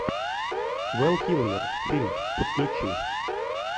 вэл килмер фильм подключи